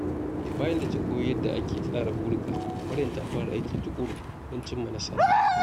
Bayan da ta koyi yadda ake tsara burika, Maryam ta fara aiki tuƙuru don cimma nasara.